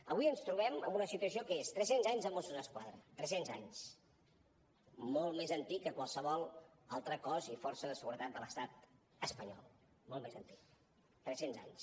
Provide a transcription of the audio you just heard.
avui ens trobem en una situació que és tres cents anys de mossos d’esquadra tres cents anys molt més antic que qualsevol altre cos i força de seguretat de l’estat espanyol molt més antic tres cents anys